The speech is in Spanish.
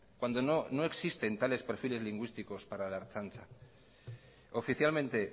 cuando no existen tales perfiles lingüísticos para la ertzaintza oficialmente